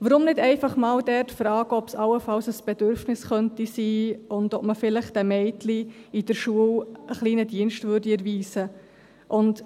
Weshalb nicht einfach einmal dort fragen, ob es allenfalls ein Bedürfnis sein könnte und ob man den Mädchen in der Schule vielleicht einen kleinen Dienst erweisen würde?